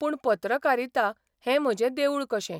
पूण पत्रकारिता हें म्हजें देवूळ कशें.